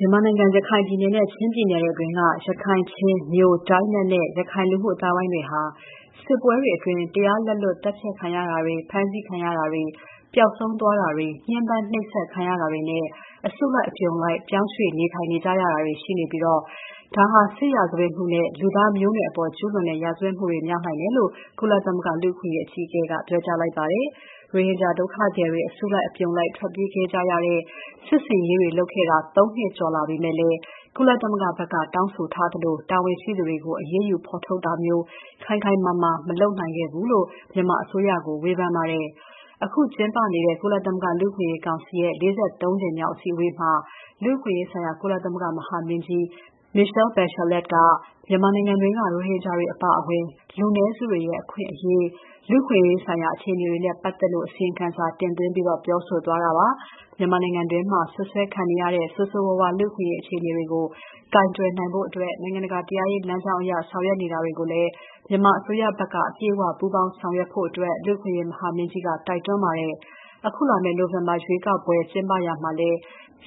မြန်မာနိုင်ငံ ရခိုင်ပြည်နယ်နဲ့ ချင်းပြည်နယ်အတွင်းက ရခိုင်၊ ချင်း၊ မြို၊ ဒိုင်းနက်နဲ့ ရခိုင် လူမှုအသိုင်းအဝိုင်းတွေဟာ စစ်ပွဲတွေအတွင်း တရားလက်လွတ်သတ်ဖြတ်ခံရတာတွေ ဖမ်းဆီးခံရတာတွေ ပျောက်ဆုံးသွားတာတွေ ညှဉ်းပန်းနှိပ်စက်ခံရတာတွေနဲ့ အစုလိုက်အပြုံလိုက်ပြောင်းရွှေ့နေထိုင်ရတာတွေ ရှိနေပြီး ဒါဟာ စစ်ရာဇဝတ်မှုနဲ့ လူသားမျိုးနွယ်အပေါ်ကျူးလွန်တဲ့ရာဇဝတ်မှုတွေ မြောက်နိုင်တယ်လို့ ကုလသမဂ္ဂ လူ့အခွင့်အရေးအကြီးအကဲက ပြောလိုက်ပါတယ်။ ရိုဟင်ဂျာဒုက္ခသည်တွေ အစုအပြုံလိုက်ထွက်ပြေးခဲ့ရတဲ့ စစ်ဆင်ရေးတွေလုပ်ခဲ့တာ သုံးနှစ်ကျော်ကြာလာပေမဲ့လည်း၊ ကုလသမဂ္ဂဘက်က တောင်းဆိုထားသလို တာဝန်ရှိသူတွေကို အရေးယူဖော်ထုတ်တာမျိုး ခိုင်ခိုင်မာမာ မလုပ်နိုင်ခဲ့ဘူးလို့ မြန်မာအစိုးရကို ဝေဖန်ထားပါတယ်။ အခု ကျင်းပနေတဲ့ ကုလသမဂ္ဂ လူ့အခွင့်အရေးကောင်စီ ၄၃ ကြိမ်မြောက်အစည်းအဝေးမှာ လူ့အခွင့်အရေးဆိုင်ရာ ကုလသမဂ္ဂ မဟာမင်းကြီး Michelle Bachelet က မြန်မာနိုင်ငံတွင်းက ရိုဟင်ဂျာတွေအပါအဝင် လူနည်းစုတွေနဲ့ အခွင့်အရေး၊ လူ့အခွင့်အရေးဆိုင်ရာအခြေအနေတွေနဲ့ ပတ်သက်လို့ အစီရင်ခံစာတင်သွင်းပြီး ပြောဆိုသွားတာပါ။ မြန်မာနိုင်ငံတွင်းမှာ စွပ်စွဲခံနေရတဲ့ ဆိုးဆိုးဝါးဝါး လူ့အခွင့်အရေး အခြေအနေတွေကို ကိုင်တွယ်ဖို့ နိုင်ငံတကာတရားရေးလမ်းကြောင်းအရ ဆောင်ရွက်နေတာကိုလည်း မြန်မာအစိုးရဖက်က အပြည့်အ၀ ပူးပေါင်းဆောင်ရွက်ဖို့ လူ့အခွင့်အရေး မဟာမင်းကြီးက တိုက်တွန်းခဲ့ပါတယ်။ အခုလာမယ့် နိုဝင်ဘာရွေးကောက်ပွဲ ကျင်းပရာမှာလည်း